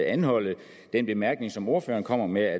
anholde den bemærkning som ordføreren kom med